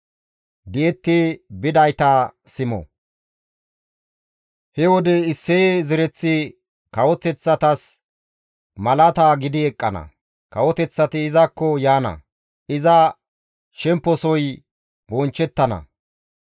He wode Isseye zereththi kawoteththatas malaata gidi eqqana; kawoteththati izakko yaana; iza shemposoy bonchchettana.